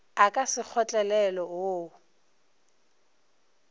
a ka se kgotlelelwe wo